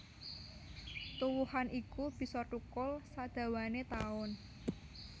Tuwuhan iku bisa thukul sadhawané taun